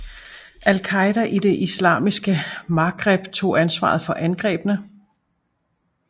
Al Qaida i det islamiske Maghreb tog ansvaret for angrebene